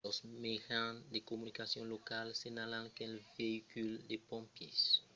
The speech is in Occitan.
los mejans de comunicacion locals senhalan qu'un veïcul de pompièrs de l'aeropòrt s'es virabocat mentre qu'interveniá